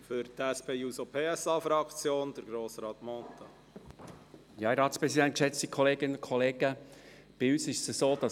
Wer diese Planungserklärung überweisen möchte, stimmt Ja, wer dies ablehnt, stimmt Nein.